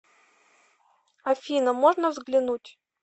афина можно взглянуть